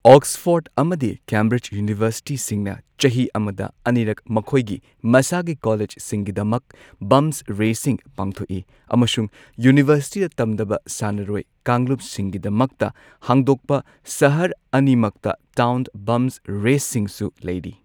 Oxford ꯑꯃꯗꯤ Cambridge ꯌꯨꯅꯤꯚꯔꯁꯤꯇꯤꯁꯤꯡꯅ ꯆꯍꯤ ꯑꯃꯗ ꯑꯅꯤꯔꯛ ꯃꯈꯣꯏꯒꯤ ꯃꯁꯥꯒꯤ ꯀꯣꯂꯦꯖꯁꯤꯡꯒꯤꯗꯃꯛ ꯕꯝꯞꯁ ꯔꯦꯁꯁꯤꯡ ꯄꯥꯡꯊꯣꯛꯏ꯫ ꯑꯃꯁꯨꯡ ꯌꯨꯅꯤꯚꯔꯁꯤꯇꯤꯗ ꯇꯝꯗꯕ ꯁꯥꯟꯅꯔꯣꯏ ꯀꯥꯡꯂꯨꯞꯁꯤꯡꯒꯤꯗꯃꯛꯇ ꯍꯥꯡꯗꯣꯛꯄ ꯁꯍꯔ ꯑꯅꯤꯃꯛꯇ ꯇꯥꯎꯟ ꯕꯝꯞꯁ ꯔꯦꯁꯁꯤꯡꯁꯨ ꯂꯩꯔꯤ꯫